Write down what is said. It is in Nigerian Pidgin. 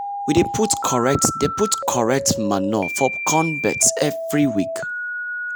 we dey put correct dey put correct manure for the corn beds every week.